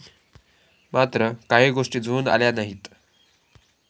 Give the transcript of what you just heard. मात्र काही गोष्टी जुळून आल्या नाहीत.